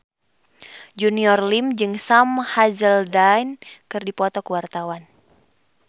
Junior Liem jeung Sam Hazeldine keur dipoto ku wartawan